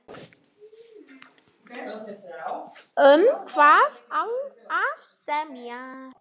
Um hvað á að semja?